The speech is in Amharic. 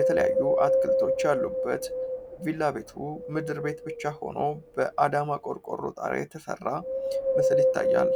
የተለያዩ አትክልቶች ያሉበት ቪላ ቤቱ ምድር ቤት ብቻ ሆኖ በአዳማ አቆርቆሮ ጣሪራ የተሠራ ምስል ይታያል።